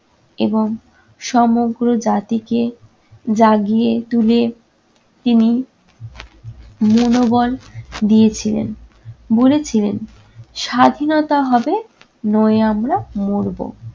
এবং সমগ্র জাতিকে জাগিয়ে তুলে তিনি মনোবল দিয়েছিলেন। বলেছিলেন- স্বাধীনতা হবে নয় আমরা মরব।